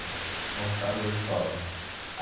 Então ficaram os dois sócios.